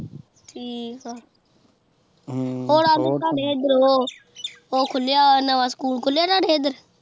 ਠੀਕ ਆ ਉਹ ਖੁੱਲਿਆ, ਨਵਾਂ ਸਕੂਲ ਖੁੱਲਿਆ ਤੁਹਾਡੇ ਹੇਦਰ